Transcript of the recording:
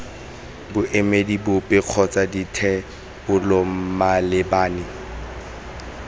boemedi bope kgotsa dithebolo malebana